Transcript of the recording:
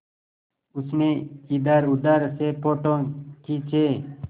उसने इधरउधर से फ़ोटो खींचे